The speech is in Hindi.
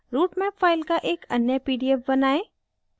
routemap file का एक अन्य pdf बनाएं